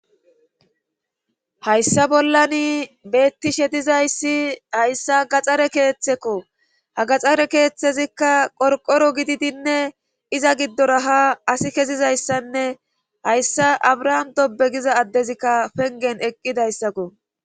hayssa bollani beettishe dizayssi hayssa gaxxare keeththekko hagaxxare keeththezikka qorqoro gididinne iza giddora ha asi kezizayssanne hayssa abrahaam dobe giza addezikka pengen eqqidayssakko